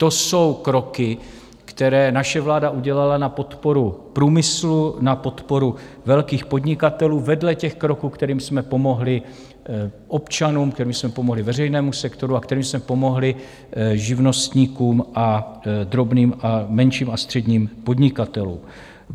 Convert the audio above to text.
To jsou kroky, které naše vláda udělala na podporu průmyslu, na podporu velkých podnikatelů vedle těch kroků, kterými jsme pomohli občanům, kterými jsme pomohli veřejnému sektoru a kterými jsme pomohli živnostníkům a drobným a menším a středním podnikatelům.